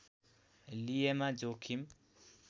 लिएमा जोखिम